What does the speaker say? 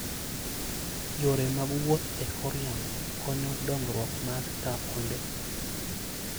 Yore mag wuoth e kor yamo konyo dongruok mar taonde.